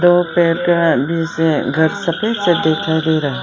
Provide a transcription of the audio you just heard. घर सफेद सफेद दिखाई दे रहा है।